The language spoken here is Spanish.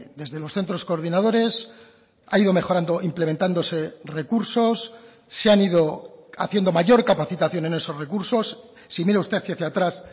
desde los centros coordinadores ha ido mejorando implementándose recursos se han ido haciendo mayor capacitación en esos recursos si mira usted hacia atrás